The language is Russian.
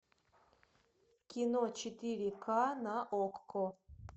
кино четыре ка на окко